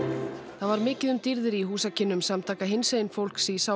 það var mikið um dýrðir í húsakynnum samtaka hinsegin fólks í